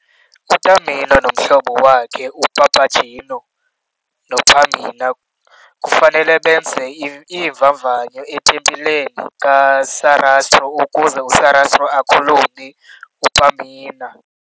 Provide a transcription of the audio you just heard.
UTamino nomhlobo wakhe, uPapageno, noPamina kufanele benze iimvavanyo etempileni kaSarastro ukuze uSarastro akhulule uPamina.